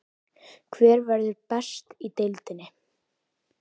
Hver verður best í deildinni?